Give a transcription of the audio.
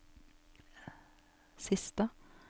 siste